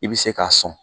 I bɛ se k'a sɔn